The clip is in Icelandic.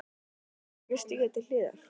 Ætlarðu ekki að stíga til hliðar?